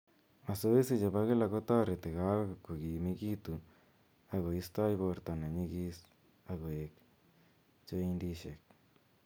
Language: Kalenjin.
Mazoezi chepo kila kotereti kowek kogimigitu ak koistoi borto nenyigis ak koek joindishek.